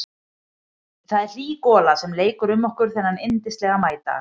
Það er hlý gola sem leikur um okkur þennan yndislega maídag.